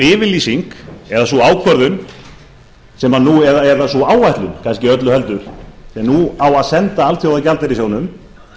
yfirlýsing eða sú ákvörðun eða sú áætlun kannski öllu heldur sem nú á að senda alþjóðagjaldeyrissjóðnum